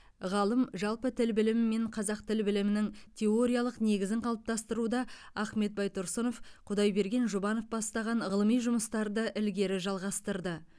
ғалым жалпы тіл білімі мен қазақ тіл білімінің теориялық негізін қалыптастыруда ахмет байтұрсынов құдайберген жұбанов бастаған ғылыми жұмыстарды ілгері жалғастырды